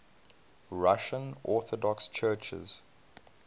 russian orthodox churches